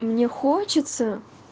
мне хочется